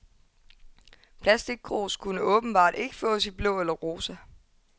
Plastickrus kunne åbenbart ikke fås i blå eller rosa.